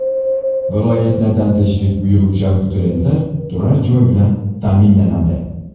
Viloyatlardan tashrif buyuruvchi abituriyentlar turar joy bilan ta’minlanadi.